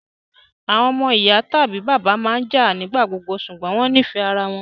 àwọn omo iya tabi bàbá maa n jạ nigbagbogbo ṣugbọn wọn nifẹ ara wọn